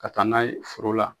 Ka taa n'a ye foro la